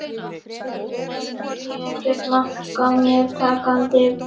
Segir að það sé ekkert mark á mér takandi.